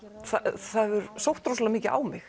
það hefur sótt rosalega mikið á mig